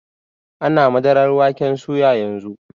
Ana madarar waken soya yanzu.